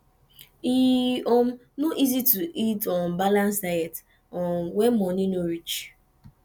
e um no easy to eat um balance diet um when money no reach